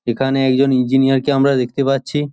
এখানে একজন ইঞ্জিনিয়ার -কে আমার দেখতে পাচ্ছি।